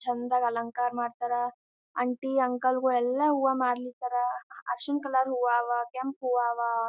ಚಂದಾಗಿ ಅಲಂಕಾರ ಮಾಡತರ್ ಆಂಟಿ ಅಂಕಲ್ ಗುಳೆಲ್ಲಾ ಹೂವಾ ಮಾರಲಿಕತ್ತರ್ ಅರಶಿಣ ಕಲರ್ ಹೂವಾ ಅವ್ ಕೆಂಪ ಹೂವಾ ಅವ್.